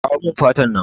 Kawo mun fatan nan